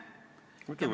Muidugi võime!